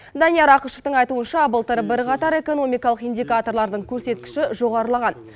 данияр ақышевтің айтуынша былтыр бірқатар экономикалық индикаторлардың көрсеткіші жоғарылаған